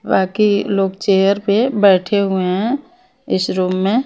बाकी लोग चेयर पे बैठे हुए हैं इस रूम में।